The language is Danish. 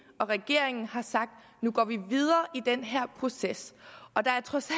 og regeringen har sagt nu går vi videre i den her proces og der er trods